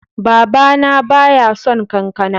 Baba na ba ya son kankana.